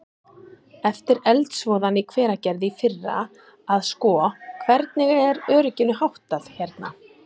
Eftir eldsvoðann í Hveragerði í fyrra að sko, hvernig er örygginu háttað hérna?